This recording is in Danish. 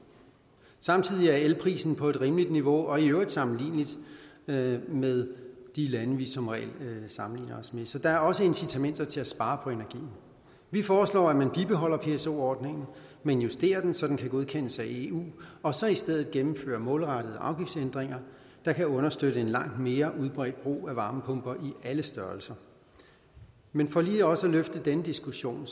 samtidig er elprisen på et rimeligt niveau og i øvrigt sammenlignelig med med de lande vi som regel sammenligner os med så der er også incitamenter til at spare på energien vi foreslår at man bibeholder pso ordningen men justerer den så den kan godkendes af eu og så i stedet gennemfører målrettede afgiftsændringer der kan understøtte en langt mere udbredt brug af varmepumper i alle størrelser men for lige også at løfte den diskussion